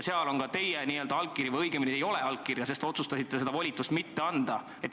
Seal on ka teie allkiri või õigemini ei ole seal teie allkirja, sest te otsustasite seda volitust mitte anda.